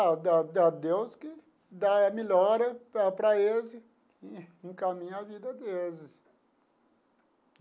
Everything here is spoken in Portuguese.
A da da Deus que dá a melhora para para eles e encaminha a vida deles.